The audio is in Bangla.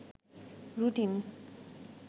রুটিন